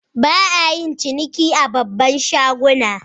Ba'a yin ciniki a babban shaguna.